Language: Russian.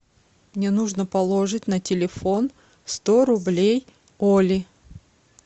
мне нужно положить на телефон сто рублей оле